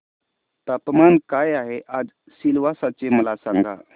तापमान काय आहे आज सिलवासा चे मला सांगा